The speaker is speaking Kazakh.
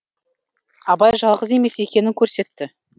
абай жалғыз емес екенін көрсетті